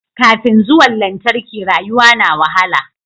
Kafin zuwan lantarki rayuwa na wahala